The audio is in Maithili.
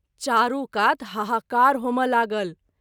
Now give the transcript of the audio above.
चारू कात हाहाकार होमए लागल।